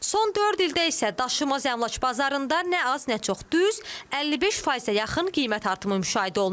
Son dörd ildə isə daşınmaz əmlak bazarında nə az, nə çox düz 55%-ə yaxın qiymət artımı müşahidə olunub.